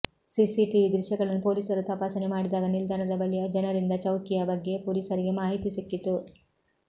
CCTV ದೃಶ್ಯಗಳನ್ನು ಪೊಲೀಸರು ತಪಾಸಣೆ ಮಾಡಿದಾಗ ನಿಲ್ದಾಣದ ಬಳಿಯ ಜನರಿಂದ ಚೌಕಿಯಾ ಬಗ್ಗೆ ಪೊಲೀಸರಿಗೆ ಮಾಹಿತಿ ಸಿಕ್ಕಿತು